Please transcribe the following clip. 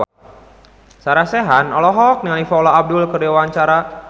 Sarah Sechan olohok ningali Paula Abdul keur diwawancara